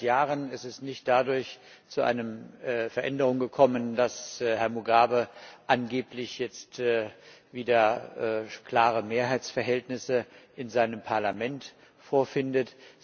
Seit Jahren ist es nicht dadurch zu einer Veränderung gekommen, dass Herr Mugabe angeblich jetzt wieder klare Mehrheitsverhältnisse in seinem Parlament vorfindet.